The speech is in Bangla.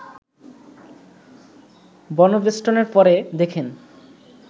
বনবেষ্টনের পর দেখেন